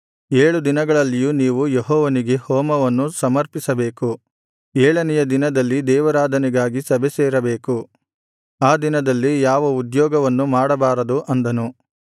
ಏಳು ದಿನಗಳಲ್ಲಿಯೂ ನೀವು ಯೆಹೋವನಿಗೆ ಹೋಮವನ್ನು ಸಮರ್ಪಿಸಬೇಕು ಏಳನೆಯ ದಿನದಲ್ಲಿ ದೇವಾರಾಧನೆಗಾಗಿ ಸಭೆಸೇರಬೇಕು ಆ ದಿನದಲ್ಲಿ ಯಾವ ಉದ್ಯೋಗವನ್ನು ಮಾಡಬಾರದು ಅಂದನು